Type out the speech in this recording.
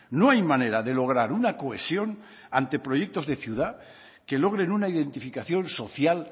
no hay manera de lograr una cohesión ante proyectos de ciudad que logren una identificación social